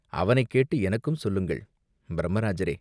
அவனைக் கேட்டு எனக்கும் சொல்லுங்கள்!" "பிரம்ம ராஜரே!